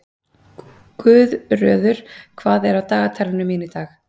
Guðröður, hvað er á dagatalinu mínu í dag?